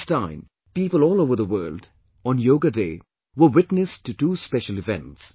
This time, people all over the world, on Yoga Day, were witness to two special events